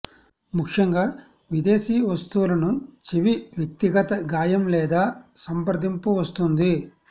ముఖ్యంగా విదేశీ వస్తువులను చెవి వ్యక్తిగత గాయం లేదా సంప్రదింపు వస్తుంది